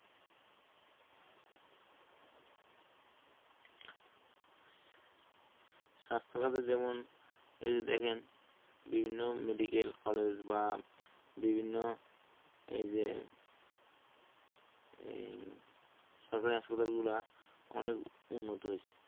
স্বাস্থ্যখাতে যেমন এই যে দেখেন বিভিন্ন medical college বা বিভিন্ন এই যে এই সরকারি হাসপাতালগুলো অনেক উন্নত হইছে